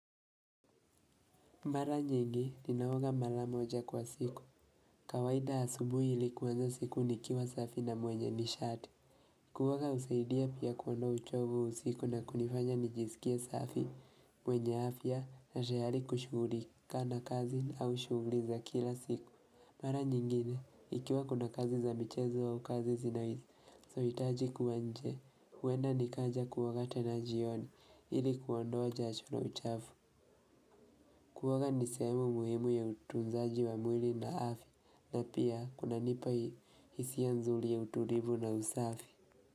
Mara nyingi, ninaoga mara moja kwa siku. Kawaida asubuhi ilikuanza siku nikiwa safi na mwenye nishati. Kuoga husaidia pia kuondoa uchovu usiku na kunifanya nijisikia safi mwenye afya na tayari kushugulika na kazi au shuguli za kila siku. Mara nyingine, ikiwa kuna kazi za michezo au kazi zinazo hitaji kuwa nje. Huenda nikaja kuoga tena jioni ilikuondoa jasho na uchafu. Kuoga nisehemu muhimu ya utunzaji wa mwili na afya na pia kuna nipa hisia nzuri ya utulivu na usafi.